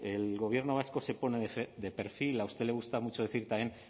el gobierno vasco se pone de perfil a usted le gusta mucho decir también